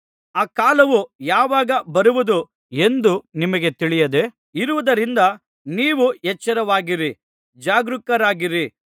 ಆ ಕಾಲವು ಯಾವಾಗ ಬರುವುದು ಎಂದು ನಿಮಗೆ ತಿಳಿಯದೆ ಇರುವುದರಿಂದ ನೀವು ಎಚ್ಚರವಾಗಿರಿ ಜಾಗರೂಕರಾಗಿರಿ